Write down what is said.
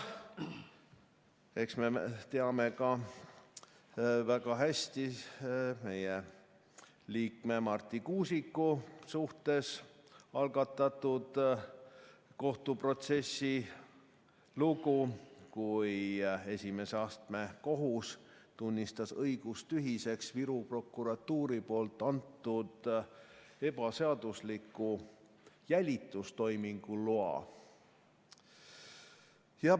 Eks me teame ka väga hästi meie liikme Marti Kuusiku suhtes algatatud kohtuprotsessi lugu, kui esimese astme kohus tunnistas õigustühiseks Viru prokuratuuri antud ebaseadusliku jälitustoimingu loa.